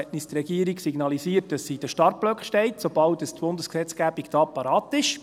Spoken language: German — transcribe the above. Die Regierung hat uns signalisiert, dass sie in den Startblöcken steht, sobald die Bundesgesetzgebung da parat ist.